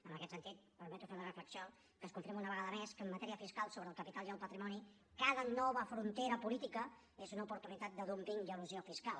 en aquest sentit em permeto fer la reflexió que es confirma una vegada més que en matèria fiscal sobre el capital i el patrimoni cada nova frontera política és una oportunitat de dúmping i elusió fiscal